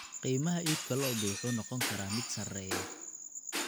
Qiimaha iibka lo'da lo'da wuxuu noqon karaa mid sarreeya.